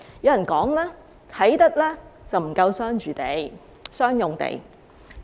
有人說，啟德不夠商用地。